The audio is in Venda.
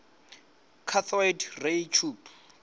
cathode ray tube